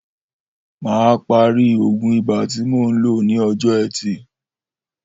Mà á parí ògùn ibà tí mo ń lò ní o̩jó̩ E̩tì